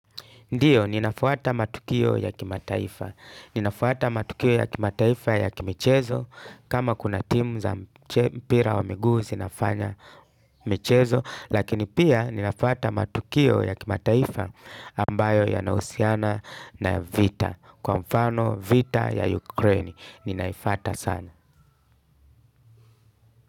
Ndiyo, ninafuata matukio ya kimataifa. Ninafuata matukio ya kimataifa ya kimichezo. Kama kuna timu za mpira wa miguu zinafanya michezo. Lakini pia ninafuata matukio ya kimataifa ambayo yanahusiana na vita. Kwa mfano vita ya Ukraine. Ninaifata sana.